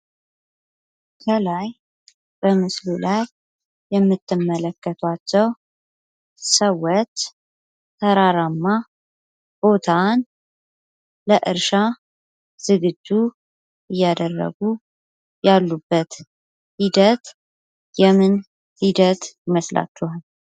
ከላይ በምስሉ ላይ የምትመለከቷቸው ሰዎች ተራራማ ቦታን ለእርሻ ዝግጁ እያደረጉ ያሉበት ሂደት የምን ሂደት ይመስላችኋል?